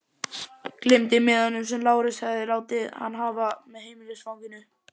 Gleymdi miðanum sem Lárus hafði látið hann hafa, með heimilisfanginu.